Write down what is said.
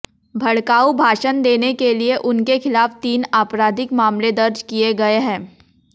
भड़काऊ भाषण देने के लिए उनके खिलाफ तीन आपराधिक मामले दर्ज किए गए हैं